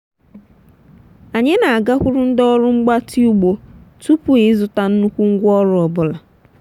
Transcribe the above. anyị na-agakwuru ndị ọrụ mgbatị ugbo tupu ịzụta nnukwu ngwaọrụ ọ bụla.